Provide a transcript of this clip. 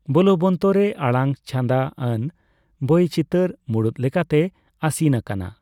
ᱵᱳᱞᱵᱚᱱᱛᱚ ᱨᱮ ᱟᱲᱟᱝ ᱪᱷᱟᱸᱫᱟ ᱟᱱ ᱵᱳᱭᱪᱤᱛᱟᱹᱨ ᱢᱩᱲᱩᱫ ᱞᱮᱠᱟᱛᱮ ᱟᱹᱥᱤᱢ ᱟᱠᱟᱱᱟ ᱾